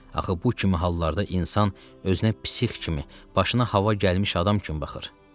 Axı bu kimi hallarda insan özünə psix kimi, başına hava gəlmiş adam kimi baxır.